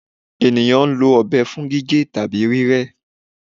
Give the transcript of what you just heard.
Eniyan lo ọbẹ fun gige tabi rírẹ